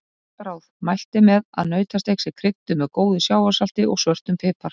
Gott ráð: Mælt er með að nautasteik sé krydduð með góðu sjávarsalti og svörtum pipar.